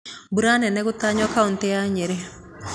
Mbura nene gũtanywo kautĩ ya Nyĩrĩ